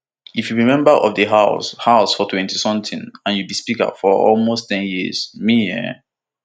if you be member of di house house for twenty something and you be speaker for almost ten years me e